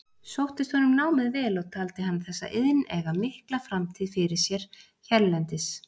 Sóttist honum námið vel og taldi hann þessa iðn eiga mikla framtíð fyrir sér hérlendis.